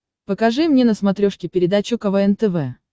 покажи мне на смотрешке передачу квн тв